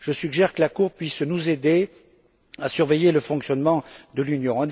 Je suggère donc que la Cour puisse nous aider à surveiller le fonctionnement de l'Union.